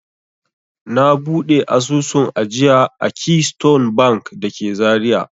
Na buɗe asusun ajiya a Keystone Bank da ke Zariya.